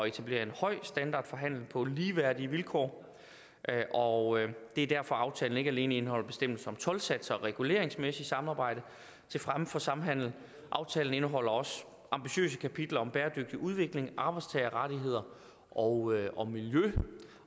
etablere en høj standard for handel på ligeværdige vilkår og det er derfor aftalen ikke alene indeholder bestemmelser om toldsatser og reguleringsmæssigt samarbejde til fremme for samhandel aftalen indeholder også ambitiøse kapitler om bæredygtig udvikling arbejdstagerrettigheder og og miljø